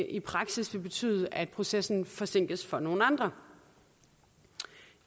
i praksis vil betyde at processen forsinkes for nogle andre